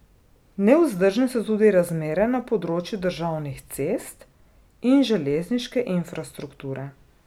Nevzdržne so tudi razmere na področju državnih cest in železniške infrastrukture.